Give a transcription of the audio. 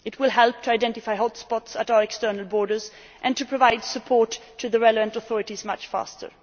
It will help to identify hotspots at our external borders and to provide support to the relevant authorities much faster.